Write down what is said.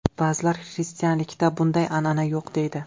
Ba’zilar xristianlikda bunday an’ana yo‘q deydi.